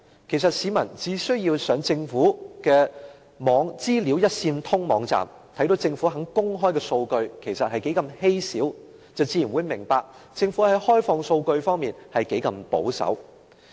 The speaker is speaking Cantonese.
其實，市民只需上政府的"資訊一線通"網站，看到政府公開的數據是何等稀少，便自然明白政府在開放數據方面，是何等的保守。